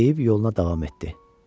Deyib yoluna davam etdi.